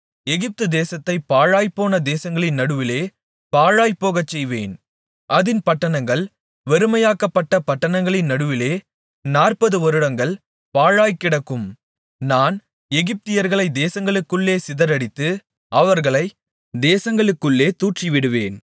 எகிப்துதேசத்தைப் பாழாய்ப்போன தேசங்களின் நடுவிலே பாழாய்ப்போகச்செய்வேன் அதின் பட்டணங்கள் வெறுமையாக்கப்பட்ட பட்டணங்களின் நடுவிலே நாற்பதுவருடங்கள் பாழாய்க்கிடக்கும் நான் எகிப்தியர்களைத் தேசங்களுக்குள்ளே சிதறடித்து அவர்களைத் தேசங்களுக்குள்ளே தூற்றிவிடுவேன்